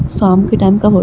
साम के टाइम का वख्त ।